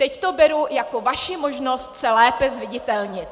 Teď to beru jako vaši možnost se lépe zviditelnit.